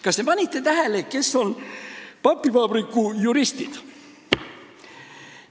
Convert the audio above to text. Kas te panite tähele, kes on papivabriku juristid?